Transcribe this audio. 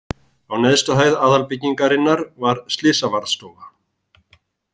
Á neðstu hæð aðalbyggingarinnar var slysavarðstofa.